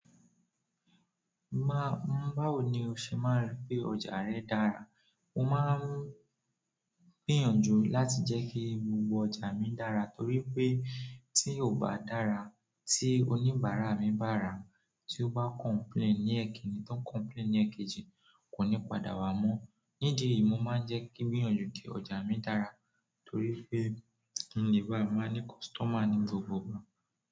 Má, n báwo ni o ṣe máa ń rí pé ọjà rẹ dára? Mo máa ń gbìyànjú láti jẹ́ kí gbogbo ọjà mi dára torí pé tí ò bá dára, tí oníbàárà mi bá rà, tí ó bá complain ní ẹkìnní, tó complain ní èkejì, kò ní padà wá mọ́. Nídìí yi, mo máa ń jẹ́ kí ń gbìyànjú ki ọ̀jà mi dára torí pé kin le bá máa ní customer ní gbogbogbò.